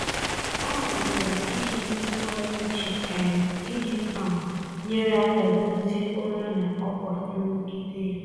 Ọ malitere iji ntụgharị uche um iji um nyere aka dozie ụra na ọkwa nrụgide ya.